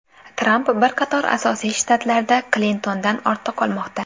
Tramp bir qator asosiy shtatlarda Klintondan ortda qolmoqda.